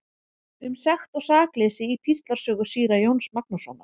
Um sekt og sakleysi í Píslarsögu síra Jóns Magnússonar.